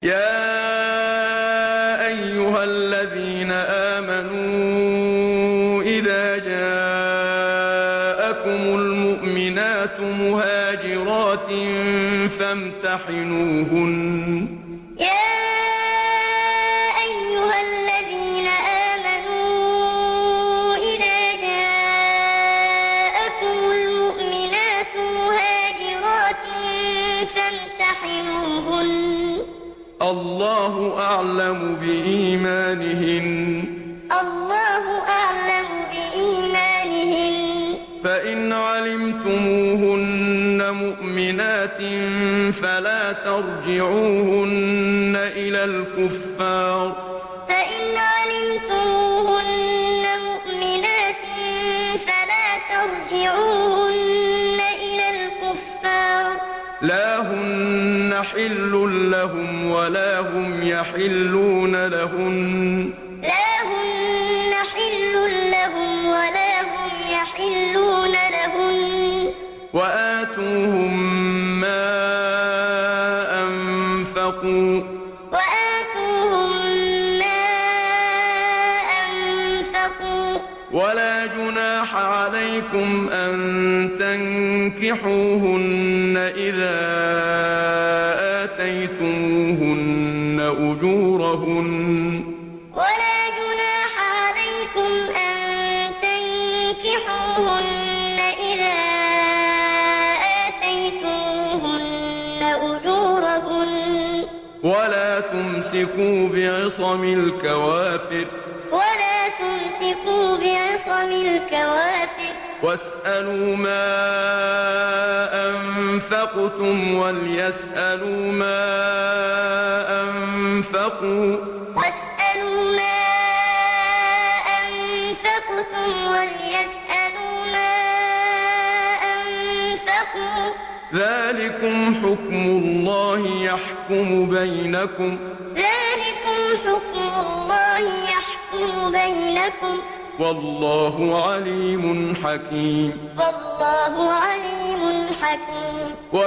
يَا أَيُّهَا الَّذِينَ آمَنُوا إِذَا جَاءَكُمُ الْمُؤْمِنَاتُ مُهَاجِرَاتٍ فَامْتَحِنُوهُنَّ ۖ اللَّهُ أَعْلَمُ بِإِيمَانِهِنَّ ۖ فَإِنْ عَلِمْتُمُوهُنَّ مُؤْمِنَاتٍ فَلَا تَرْجِعُوهُنَّ إِلَى الْكُفَّارِ ۖ لَا هُنَّ حِلٌّ لَّهُمْ وَلَا هُمْ يَحِلُّونَ لَهُنَّ ۖ وَآتُوهُم مَّا أَنفَقُوا ۚ وَلَا جُنَاحَ عَلَيْكُمْ أَن تَنكِحُوهُنَّ إِذَا آتَيْتُمُوهُنَّ أُجُورَهُنَّ ۚ وَلَا تُمْسِكُوا بِعِصَمِ الْكَوَافِرِ وَاسْأَلُوا مَا أَنفَقْتُمْ وَلْيَسْأَلُوا مَا أَنفَقُوا ۚ ذَٰلِكُمْ حُكْمُ اللَّهِ ۖ يَحْكُمُ بَيْنَكُمْ ۚ وَاللَّهُ عَلِيمٌ حَكِيمٌ يَا أَيُّهَا الَّذِينَ آمَنُوا إِذَا جَاءَكُمُ الْمُؤْمِنَاتُ مُهَاجِرَاتٍ فَامْتَحِنُوهُنَّ ۖ اللَّهُ أَعْلَمُ بِإِيمَانِهِنَّ ۖ فَإِنْ عَلِمْتُمُوهُنَّ مُؤْمِنَاتٍ فَلَا تَرْجِعُوهُنَّ إِلَى الْكُفَّارِ ۖ لَا هُنَّ حِلٌّ لَّهُمْ وَلَا هُمْ يَحِلُّونَ لَهُنَّ ۖ وَآتُوهُم مَّا أَنفَقُوا ۚ وَلَا جُنَاحَ عَلَيْكُمْ أَن تَنكِحُوهُنَّ إِذَا آتَيْتُمُوهُنَّ أُجُورَهُنَّ ۚ وَلَا تُمْسِكُوا بِعِصَمِ الْكَوَافِرِ وَاسْأَلُوا مَا أَنفَقْتُمْ وَلْيَسْأَلُوا مَا أَنفَقُوا ۚ ذَٰلِكُمْ حُكْمُ اللَّهِ ۖ يَحْكُمُ بَيْنَكُمْ ۚ وَاللَّهُ عَلِيمٌ حَكِيمٌ